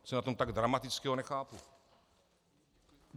Co je na tom tak dramatického, nechápu.